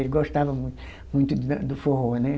Ele gostava muito, muito da do forró, né?